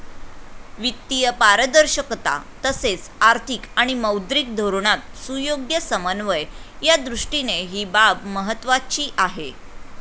वित्तीय पारदर्शकता तसेच आर्थिक आणि मौद्रिक धोरणात सुयोग्य समन्वय यादृष्टीने ही बाब महत्त्वाची आहे.